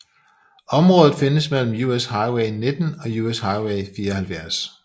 Området findes mellem US Highway 19 og US Highway 74